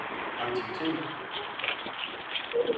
aktiviteter